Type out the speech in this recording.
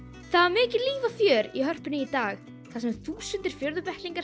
mikið líf og fjör í Hörpunni í dag þar sem þúsundir